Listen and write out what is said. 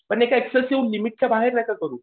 पण एक ऍक्सेसिव्ह लिमिटच्या बाहेर नका करू.